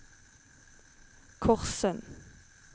Korssund